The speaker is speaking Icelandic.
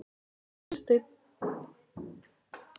Unnsteinn